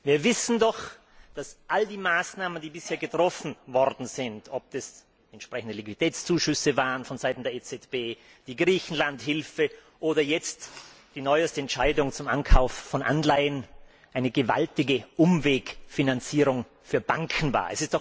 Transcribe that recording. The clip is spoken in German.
Wir wissen doch, dass all die Maßnahmen, die bisher getroffen worden sind ob es entsprechende Liquiditätszuschüsse waren von Seiten der EZB, die Griechenland Hilfe oder jetzt die neueste Entscheidung zum Ankauf von Anleihen eine gewaltige Umwegfinanzierung für Banken war.